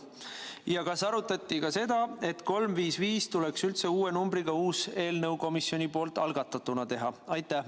Ja kas arutati ka seda, et 355 üldse uue numbriga asendada ja uue komisjonipoolse eelnõuna algatada?